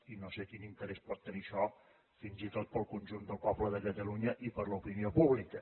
i no sé quin interès pot tenir això fins i tot per al conjunt del poble de catalunya i per a l’opinió pública